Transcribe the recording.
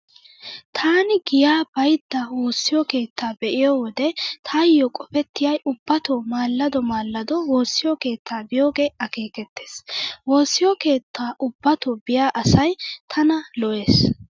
Taani giyaa baydda woossiyo keettaa be'iyo wode taayo qofettiyay ubbatoo maallado maallado woossiyo keettaa biyoogee akeekettees. Woossiyo keettaa ubbatoo biya asay tana lo'ees.